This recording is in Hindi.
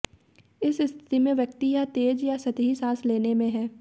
इस स्थिति में व्यक्ति यह तेज़ और सतही साँस लेने में है